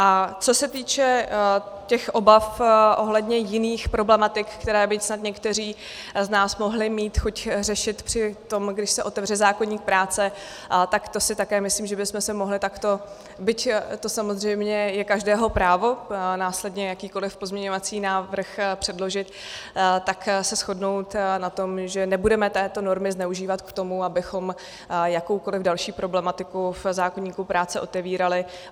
A co se týče těch obav ohledně jiných problematik, které by snad někteří z nás mohli mít chuť řešit při tom, když se otevře zákoník práce, tak to si také myslím, že bychom se mohli takto, byť to samozřejmě je každého právo následně jakýkoliv pozměňovací návrh předložit, tak se shodnout na tom, že nebudeme této normy zneužívat k tomu, abychom jakoukoliv další problematiku v zákoníku práce otevírali.